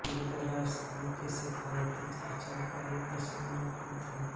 गींदड़ राजस्थान के शेखावाटी अंचल का एक प्रसिद्ध लोकनृत्य है